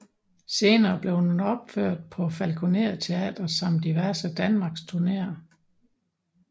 Senere blev den opført på Falkoner Teatret samt diverse danmarksturneer